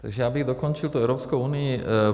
Takže já bych dokončil tu Evropskou unii.